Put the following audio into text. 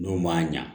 N'o ma ɲa